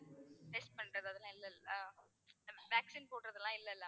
test பண்றது அதெல்லாம் இல்லல்ல. vaccine போடுறது எல்லாம் இல்லல்ல.